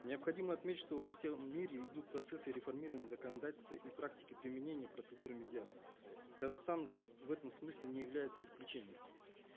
необходимо отметить что во всем мире идут процессы реформирования законодательства и практики применения процедуры медиации казахстан в этом смысле не является исключением